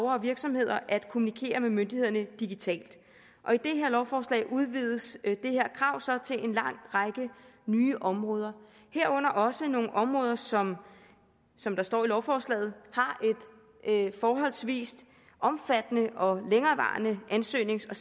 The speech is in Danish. og virksomheder at kommunikere med myndighederne digitalt og i det her lovforslag udvides det her krav så til en lang række nye områder herunder også nogle områder som som der står i lovforslaget har et forholdsvis omfattende og længerevarende ansøgnings og